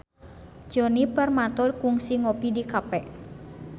Djoni Permato kungsi ngopi di cafe